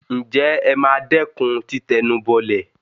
ǹjẹ́ ẹ ma dẹ́kun títẹnubọlẹ̀?